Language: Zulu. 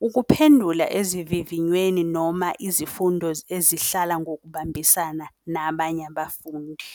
ukuphendula ezivivinyweni noma izifundo ezihlala ngokubambisana nabanye abafundi.